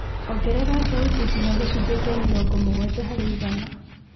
ongerere thauti nginya gĩcunjĩ kĩa mĩrongo mũgwanja harĩ igana